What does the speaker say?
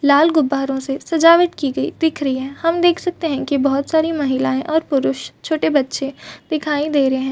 लाल गुब्बारों से सजावट की गई है दिखा रही है हम देख सकते है की बहतु सारी महिलाये और पुरुष छोटे बच्चे दिखाई दे रहै है।